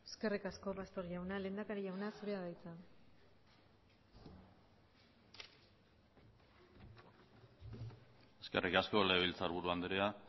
eskerrik asko pastor jauna lehendakari jauna zurea da hitza eskerrik asko legebiltzarburu andrea